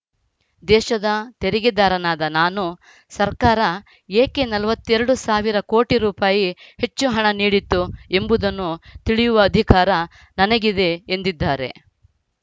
ದೇಶದ ತೆರಿಗೆದಾರನಾದ ನಾನು ಸರ್ಕಾರ ಏಕೆ ನಲವತ್ತ್ ಎರಡು ಸಾವಿರ ಕೋಟಿ ರೂಪಾಯಿ ಹೆಚ್ಚು ಹಣ ನೀಡಿತು ಎಂಬುದನ್ನು ತಿಳಿಯುವ ಅಧಿಕಾರ ನನಗಿದೆ ಎಂದಿದ್ದಾರೆ